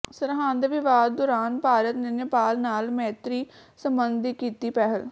ਸਰਹੱਦ ਵਿਵਾਦ ਦੌਰਾਨ ਭਾਰਤ ਨੇ ਨੇਪਾਲ ਨਾਲ ਮੈਤਰੀ ਸਬੰਧ ਦੀ ਕੀਤੀ ਪਹਿਲ